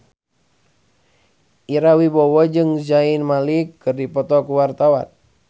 Ira Wibowo jeung Zayn Malik keur dipoto ku wartawan